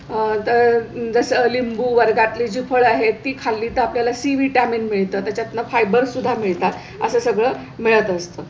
आहे तर जसं लिंबू वर्गात ली फळं आहे ती खाल्ली तर आपल्याला c vitamin मिळते. त्याच्यातं fiber सुद्धा मिळतात असं सगळं मिळत असतं.